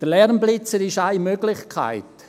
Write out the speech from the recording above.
Der Lärmblitzer ist eine Möglichkeit.